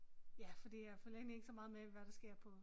Ja fordi jeg følger egentlig ikke så meget med hvad der sker på